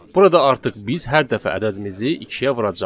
Burada artıq biz hər dəfə ədədimizi ikiyə vuracağıq.